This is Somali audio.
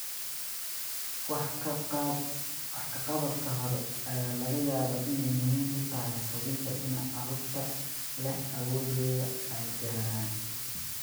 Wax ka qabadka hore ayaa laga yaabaa inay muhiim u tahay hubinta in carruurta leh awooddooda ay gaaraan.